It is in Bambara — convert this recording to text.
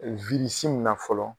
in na fɔlɔ